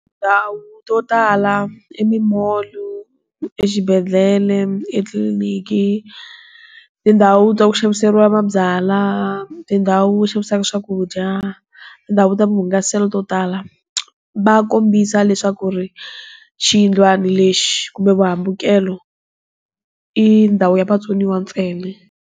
Tindhawu to tala, emimolu, exibedele, etliliniki, tindhawu ta ku xaviseriwa mabyalwa, tindhawu va xavisaka swakudya, tindhawu ta hungaselo to tala, va kombisa leswaku ri, xiyindlana lexi, kumbe vuhambukelo, i ndhawu ya vatsoniwa ntsena.